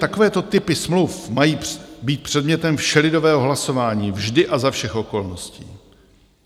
Takovéto typy smluv mají být předmětem všelidového hlasování vždy a za všech okolností.